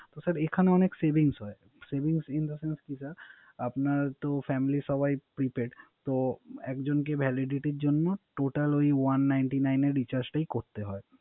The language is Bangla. ও স্যার এখানে অনেক Savings হয়। আপনার Family সবাই Prepaid তো একজন কে Validity র জন্য Total ও ই One ninety nine এর Recharge টাই করতে হয়